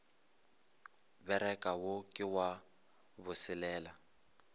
bereka wo ke wa boselela